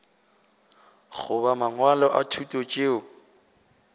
goba mangwalo a thuto tšeo